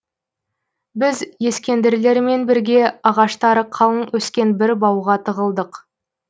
біз ескендірлермен бірге ағаштары қалың өскен бір бауға тығылдық